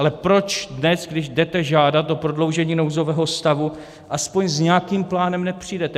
Ale proč dnes, když jdete žádat o prodloužení nouzového stavu, alespoň s nějakým plánem nepřijdete?